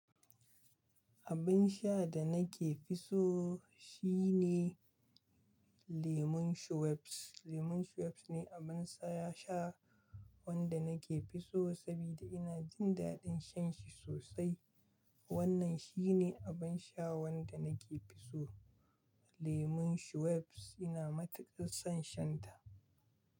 Abin sha da nake fi so shine lemun Schweppes. Lemun Schweppes ne abin saya sha wanda nake fi so sabida ina jin daɗin shan shi sosai. Wannan shi ne abin sha wanda nake fi so, lemun Schweppes. Ina matuƙar son shan ta.